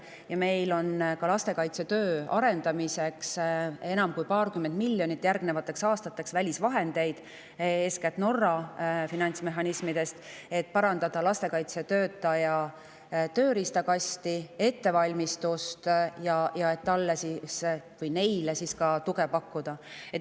Ja meil on lastekaitsetöö arendamiseks välisvahendeid enam kui paarkümmend miljonit järgnevateks aastateks, eeskätt Norra finantsmehhanismidest, et parandada lastekaitsetöötajate tööriistakasti ja ettevalmistust ning neile tuge pakkuda.